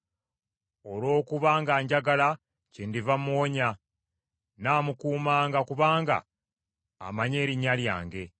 “Olw’okuba nga njagala kyendiva muwonya; nnaamukuumanga, kubanga amanyi erinnya lyange.